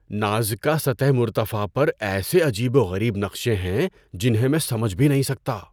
Nazca سطح مرتفع پر ایسے عجیب و غریب نقشے ہیں جنہیں میں سمجھ بھی نہیں سکتا!